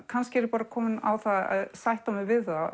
kannski er ég komin á það að sætta mig við það